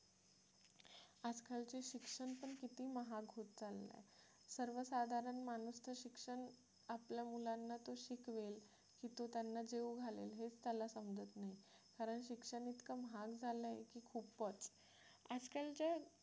सर्वसाधारण माणूस तर शिक्षण आपल्या मुलांना तो शिकवेल की तो त्यांना जेवू घालेल हेच त्याला समजत नाही खरंतर शिक्षण इतका महाग झालंय की खूपच आजकालच्या